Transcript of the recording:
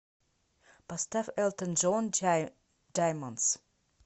поставь элтон джон даймондс